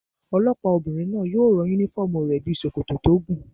Olọ́pàá obìnrin náà yóò rán yúnífọ́ọ̀mù rẹ̀ bíi sòkòtò tó gùn